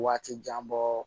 Waati jan bɔ